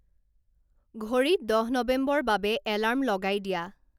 ঘড়িত দহ নৱেম্বৰ বাবে এলাৰ্ম লগাই দিয়া